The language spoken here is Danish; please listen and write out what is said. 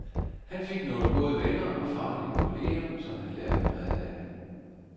Han fik nogle gode venner og faglige kolleger, som han lærte meget af.